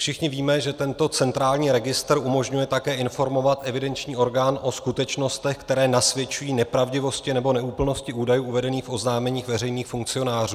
Všichni víme, že tento centrální registr umožňuje také informovat evidenční orgán o skutečnostech, které nasvědčují nepravdivosti nebo neúplnosti údajů uvedených v oznámení veřejných funkcionářů.